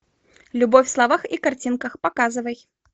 любовь в словах и картинках показывай